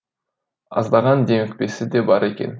аздаған демікпесі де бар екен